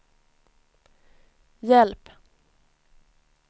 hjälp